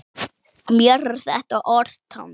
Mér er þetta orð tamt.